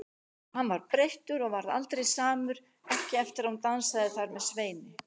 Hann var breyttur og yrði aldrei samur, ekki eftir að hún dansaði þar með Sveini.